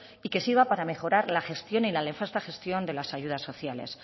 y que sirva para mejorar la gestión y la nefasta gestión de las ayudas sociales